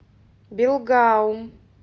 белгаум